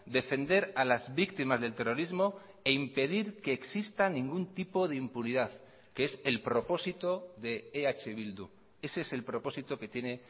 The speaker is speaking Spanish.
defender a las víctimas del terrorismo e impedir que existan ningún tipo de impunidad que es el propósito de eh bildu ese es el propósito que tiene